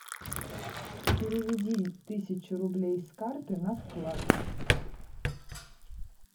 переведи тысячу рублей с карты на вклад